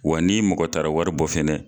Wa ni mɔgɔ taara wari bɔ fɛnɛ